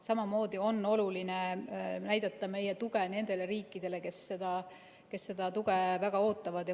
Samamoodi on oluline näidata meie tuge nendele riikidele, kes seda tuge väga ootavad.